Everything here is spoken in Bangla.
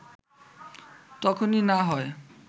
তখনই না হয়